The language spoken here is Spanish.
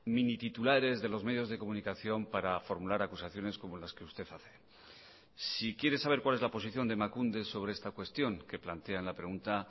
minititulares de los medios de comunicación para formular acusaciones como las que usted hace si quiere saber cuál es la posición de emakunde sobre esta cuestión que plantea en la pregunta